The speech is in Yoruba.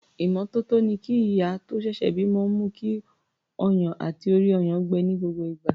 Ìmọ́tótó ni kí ìyá tó ṣẹ̀ṣẹ̀ bímọ mú kí ọyàn àti orí-ọyàn gbẹ ní gbogbo ìgbà.